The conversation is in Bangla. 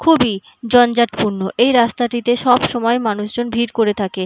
খুবই জঞ্জাটপূর্ণ এই রাস্তাটিতে সবসময় মানুষজন ভিড় করে থাকে।